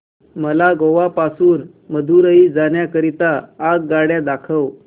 मला गोवा पासून मदुरई जाण्या करीता आगगाड्या दाखवा